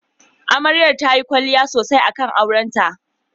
Amarya tayi kwalliya sosai akan aurenta.